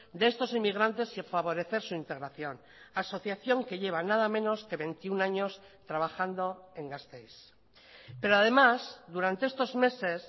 de estos inmigrantes y favorecer su integración asociación que lleva nada menos que veintiuno años trabajando en gasteiz pero además durante estos meses